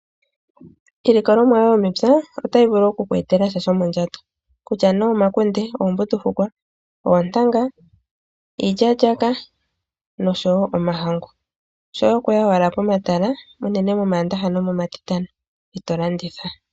Iilikolomwa yomepya otayi vulu oku kwetela sha shomondjato kutya me omakunde, oombundufukwa, oontanga, iilyalyaka noshowo omahangu shoye okuya wala pomatala uunene momandaha nomomatitano eto landitha.